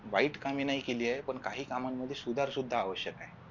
वाईट कामी नाही गेली आहे पण काही कामांमध्ये सुधार सुद्धा आवश्यक आहे